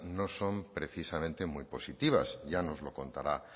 no son precisamente muy positivas ya nos lo contará